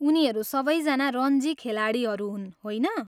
उनीहरू सबैजना रन्जी खेलाडीहरू हुन्, होइन?